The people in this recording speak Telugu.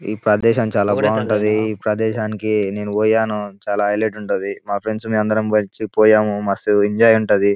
ఈ ప్రదేశం చాలా బాగుంటది. ఈ ప్రదేశంనికి నేను పోయాను చాలా హైలైట్ గా ఉంటది. మా ఫ్రెండ్స్ మేము అందరం కలిసి పోయాము మస్తుగా ఎంజాయ్ ఉంటది.